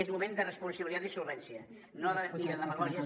és moment de responsabilitat i solvència no de demagògies